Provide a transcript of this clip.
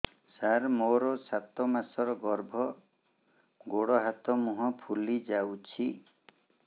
ସାର ମୋର ସାତ ମାସର ଗର୍ଭ ଗୋଡ଼ ହାତ ମୁହଁ ଫୁଲି ଯାଉଛି